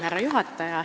Härra juhataja!